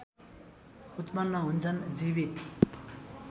उत्पन्न हुन्छन् जीवित